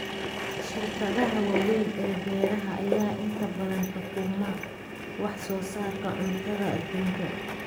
Shirkadaha waaweyn ee beeraha ayaa inta badan xukuma wax soo saarka cuntada adduunka.